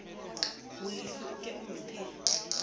molefi o ke o mphe